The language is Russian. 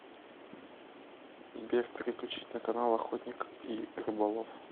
сбер переключить на канал охотник и рыболов